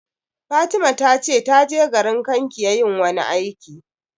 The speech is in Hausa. Fatima ta ce ta je garin Kankia yin wani aiki